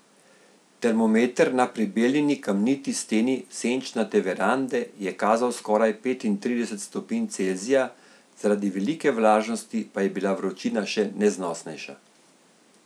Termometer na prebeljeni kamniti steni senčnate verande je kazal skoraj petintrideset stopinj Celzija, zaradi velike vlažnosti pa je bila vročina še neznosnejša.